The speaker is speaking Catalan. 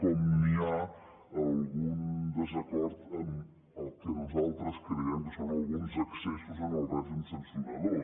com hi ha algun desacord en el que nosaltres creiem que són alguns excessos en el règim sancionador